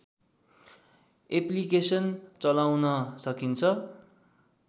application चलाउन सकिन्छ